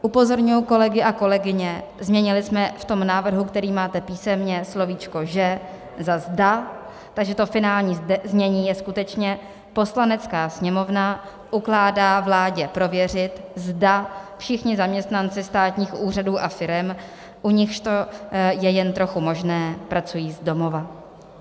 Upozorňuji kolegy a kolegyně, změnili jsme v tom návrhu, který máte písemně, slovíčko "že" za "zda", takže to finální znění je skutečně: "Poslanecká sněmovna ukládá vládě prověřit, zda všichni zaměstnanci státních úřadů a firem, u nichž to je jen trochu možné, pracují z domova."